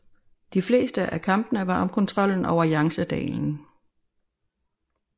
De fleste af kampene var om kontrollen over Yangtzedalen